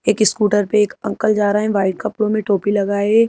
एक स्कूटर पे एक अंकल जा रहा है वाइट कपड़ों में टोपी लगाए --